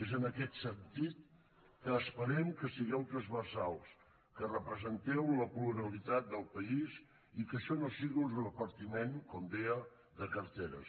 és en aquest sentit que esperem que sigueu transversals que representeu la pluralitat del país i que això no sigui un repartiment com deia de carteres